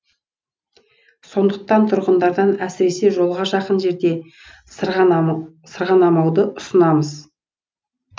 сондықтан тұрғындардан әсіресе жолға жақын жерде сырғанамауды сұраймыз